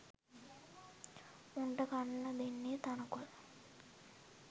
මුන්ට කන්න දෙන්නේ තණකොළ.